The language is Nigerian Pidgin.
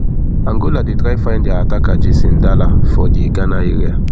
angola dey try find dia attacker jason dala for di ghana area